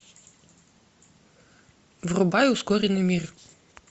врубай ускоренный мир